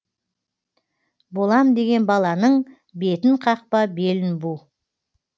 болам деген баланың бетін қақпа белін бу